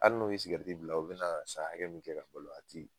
Ali n'o ye sigɛrɛti bila o be na san hakɛ min kɛ ka balo a ti